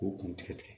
K'u kun tigɛ